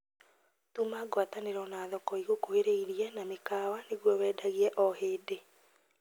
Tuma ngwatanĩro na thoko igũkuhĩrĩirie na mĩkawa nĩguo wendagie o hĩndĩ